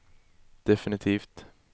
definitivt